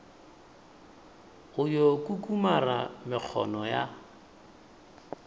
o yo kukumara mekgona ya